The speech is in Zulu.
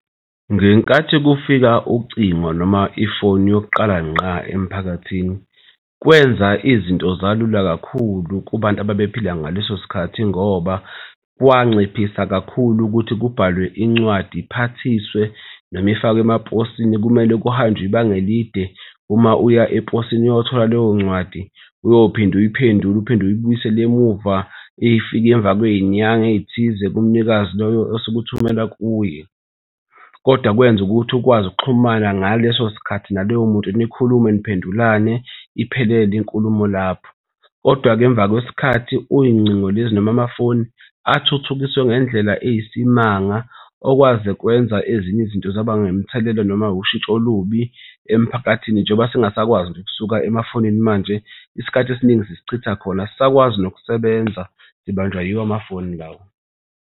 Ngenkathi kufika ucingo noma ifoni yokuqala ngqa emphakathini, kwenza izinto zalula kakhulu kubantu ababephila ngaleso sikhathi ngoba kwanciphisa kakhulu ukuthi kubhalwe incwadi iphathiswe noma ifakwe emaposini, kumele kuhanjwe ibanga elide uma uya eposini uyothola leyo ncwadi. Uyophinde uyiphendula uphinde uyibuyisela emuva ifike emva kwey'nyanga ey'thize kumnikazi loyo osuke uthumela kuye, kodwa kwenza ukuthi ukwazi ukuxhumana ngaleso sikhathi naloyo muntu nikhulume niphendulane iphelele inkulumo lapho. Kodwa-ke emva kwesikhathi, kuy'ngcingo lezi noma amafoni athuthukiswe ngendlela eyisimanga okwaze kwenza ezinye izinto zaba nemithelela noma ushintsho olubi emphakathini. Njengoba singasakwazi nje ukusuka emafonini manje isikhathi esiningi sisichitha khona asisakwazi nokusebenza sibanjwa yiwo amafoni lawa.